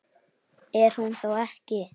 Er hún þá ekki?